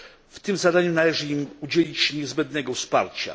W tym zadaniu należy im udzielić niezbędnego wsparcia.